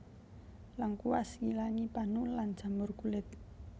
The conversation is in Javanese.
Lengkuas ngilangi panu lan jamur kulit